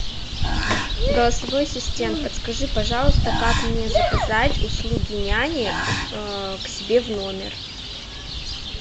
голосовой ассистент подскажи пожалуйста как мне заказать услуги няни к себе в номер